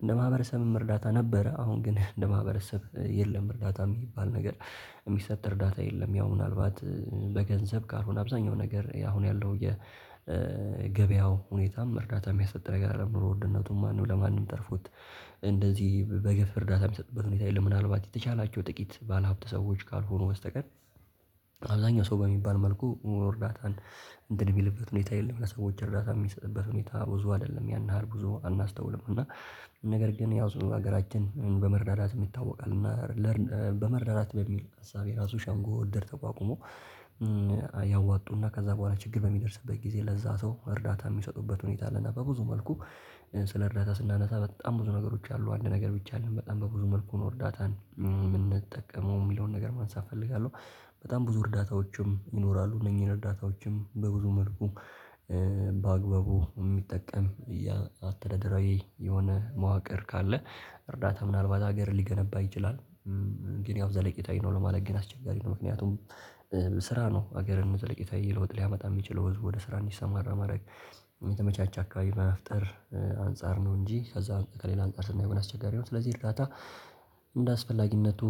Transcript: እንደ ማህበረሰብም እርዳታ ነበረ አሁን ግን እንደ ማህበረሰብ የለም እርዳታ የሚባል ነገር የሚሰጥ እርዳታ የለም ያው ምናልባት በገንዘብ ካልሆነ አብዛኛው ነገር አሁን ያለው የገበያው ሁኔታም እርዳታ የሚያሰጥ ነገር አይደለም። ኑሮ ዉድነቱም ማንም ለማንም ተርፎት እንደዚህ በገፍ እርዳታ የሚሰጥበት ሁኔታ የለም። ምናልባት የተቻላቸው ጥቂት ባለሀብት ሰዎች ካልሆኑ በስተቀር አብዛኛው ሰው በሚባል መልኩ እርዳታን እንትን የሚልበት ሁኔታ የለም፤ ለሰዎች እርዳታ የሚሰጥበት ሁኔታ ብዙ አይደለም፤ ያን ያህል ብዙ አናስተውልም እና ነገር ግን ዙሮ ሀገራችን በመረዳዳትም ይታወቃል እና በመረዳዳት በሚል እሳቤ ራሱ ሸንጎ፣ እድር ተቋቁሞ ያዋጡና ከዛ በኋላ ችግር በሚደርስበት ጊዜ ለዛ ሰው እርዳታ የሚሰጡበት ሁኔታ አለና በብዙ መልኩ ስለ እርዳታ ስናነሳ በጣም ብዙ ነገሮች አሉ አንድ ነገር ብቻ አደለም። በጣም በብዙ መልኩ ነው እርዳታን የምንጠቀመው የሚለውን ነገር ማንሳት እፈልጋለሁ። በጣም ብዙ እርዳታዎችም ይኖራሉ። እነኚህን እርዳታዎችም በብዙ መልኩ በአግባቡ የሚጠቀም አስተዳደራዊ የሆነ መዋቅር ካለ እርዳታ ምናልባት ሀገርን ሊገነባ ይችላል ግን ያው ዘለቂታዊ ነው ለማለት ግን አስቸጋሪ ነው ምክንያቱም ስራ ነው ሀገርን ዘለቄታዊ ለዉጥ ሊያመጣ የሚችለው ህዝብ ወደ ስራ እንዲሰማራ ማድረግ ከተመቻች አካባቢ መፍጠር አንፃር ነው እንጂ ከዛ ከሌላ አንፃር ስናየው ግን አስቸጋሪ ነው። ስለዚህ እርዳታ እንደ አስፈላጊነቱ